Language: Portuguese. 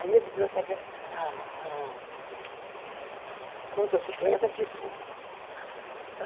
Aí a biblioteca... A a motocicleta pifou.